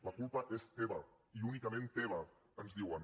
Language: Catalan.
la culpa és teva i únicament teva ens diuen